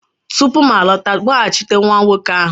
tupu m alọta, kpọghachite nwa nwoke ahụ!